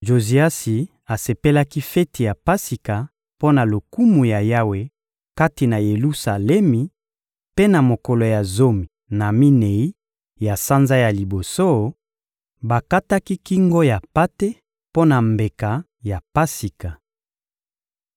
Joziasi asepelaki feti ya Pasika mpo na lokumu ya Yawe kati na Yelusalemi; mpe na mokolo ya zomi na minei ya sanza ya liboso, bakataki kingo ya mpate mpo na mbeka ya Pasika.